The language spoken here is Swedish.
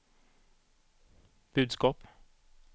budskap